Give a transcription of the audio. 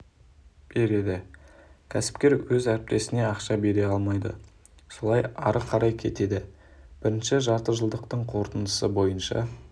береді кәсіпкер өз әріптесіне ақша бере алмайды солай ары қарай кетеді бірінші жартыжылдықтың қорытындысы бойынша